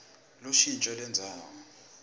lushintjo lendzawo